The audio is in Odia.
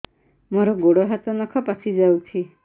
ମୋର ଗୋଡ଼ ହାତ ନଖ ପାଚି ଯାଉଛି